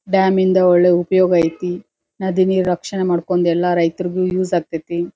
Dam ಇಂದ ಒಳ್ಳೆ ಉಪಯೋಗ ಐತಿ ನದಿ ನೀರ್ ರಕ್ಷಣೆ ಮಾಡ್ಕೊಂಡ್ ಎಲ್ಲಾ ರೈತ್ರುಗು ಯೂಸ್ ಆಗತೈತಿ.